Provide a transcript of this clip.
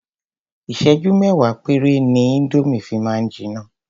Ìsẹ́jú mẹ́wàá péré ni indomie fi máa ń jiná.